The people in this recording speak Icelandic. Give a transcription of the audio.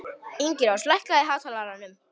Ingirós, lækkaðu í hátalaranum.